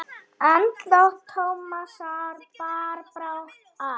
Andlát Tómasar bar brátt að.